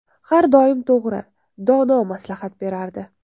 Har doim to‘g‘ri, dono maslahat berardi.